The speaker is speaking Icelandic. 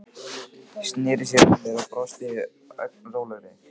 Sneri sér að mér og brosti, ögn rólegri.